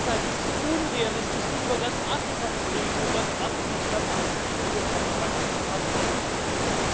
Und deshalb ist es unrealistisch, nun über ganz Afrika zu reden und ganz Afrika stabilisieren und auf einen Wachstumspfad führen zu wollen.